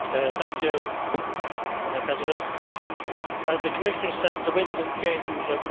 Madam President, as the Commissioner said, the winds of change are blowing across North Africa